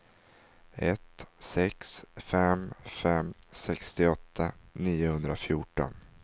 ett sex fem fem sextioåtta niohundrafjorton